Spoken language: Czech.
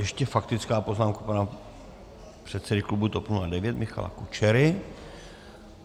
Ještě faktická poznámka pana předsedy klubu TOP 09 Michala Kučery.